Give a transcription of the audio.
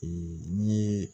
n'i ye